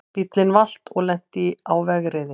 Bíllinn valt og lenti á vegriði